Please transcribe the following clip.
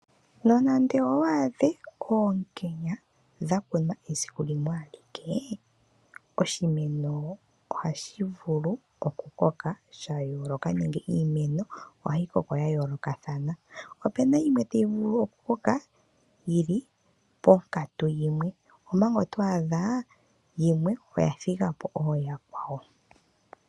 Nonande owaadhe oonkenya dhakunwa esiku limwaalike oshimeno ohashi vulu okukoka shayooloka nenge iimeno ohayi koko yayoolokathana. Opena yimwe tayi vulu oku koka yili ponkatu yimwe ompanga otwaadha yimwe oya thigapo ooyakwawo.